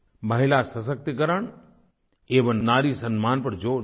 महिला सशक्तिकरण एवं नारी सम्मान पर ज़ोर दिया था